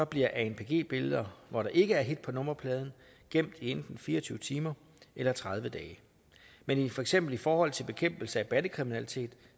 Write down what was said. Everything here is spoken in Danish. bliver anpg billeder hvor der ikke er hit på nummerpladen gemt i enten fire og tyve timer eller tredive dage men for eksempel i forhold til bekæmpelse af bandekriminalitet